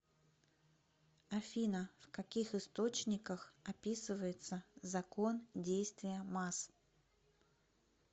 афина в каких источниках описывается закон действия масс